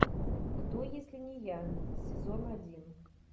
кто если не я сезон один